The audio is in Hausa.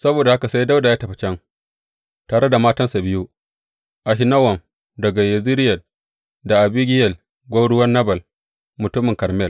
Saboda haka sai Dawuda ya tafi can tare da matansa biyu, Ahinowam daga Yezireyel da Abigiyel gwauruwar Nabal mutumin Karmel.